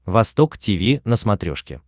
восток тиви на смотрешке